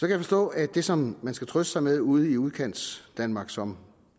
jeg forstå at det som man skal trøste sig med ude i udkantsdanmark som